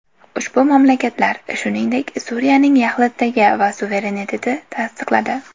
Ushbu mamlakatlar, shuningdek, Suriyaning yaxlitligi va suverenitetini tasdiqladi.